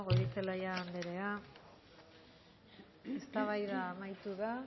goirizelaia andrea eztabaida amaitu da